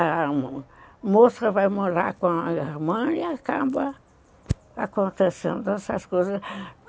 A moça vai morar com a irmã e acaba acontecendo essas coisas.